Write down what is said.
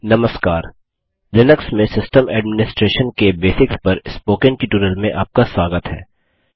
नमस्कार लिनक्स में system administration के बेसिक्स पर स्पोकन ट्युटोरियल में आपका स्वागत है